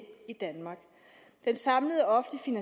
i danmark den samlede offentlige